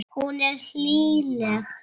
Hún er hlýleg.